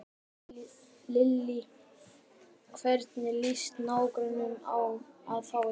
Lillý: Hvernig lýst nágrönnunum á að fá ykkur?